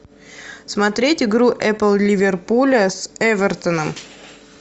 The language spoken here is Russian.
смотреть игру апл ливерпуля с эвертоном